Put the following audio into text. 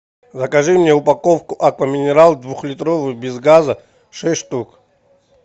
закажи мне упаковку аква минерале двухлитровую без газа шесть штук